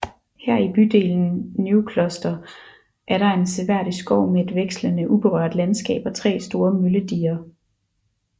Her i bydelen Neukloster er der en seværdig skov med et vekslende uberørt landskab og tre store møllediger